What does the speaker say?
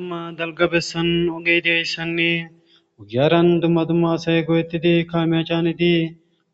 dumma dalga bessan ogediyayssanne ogiyaaran dumma dumma asay goyettidi kameya caanidi